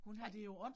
Nej